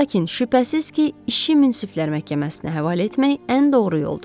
Lakin şübhəsiz ki, işi münsiflər məhkəməsinə həvalə etmək ən doğru yoldur.